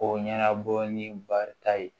O ɲɛnabɔ ni barita ye